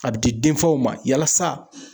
A bi di denfaw ma yalasa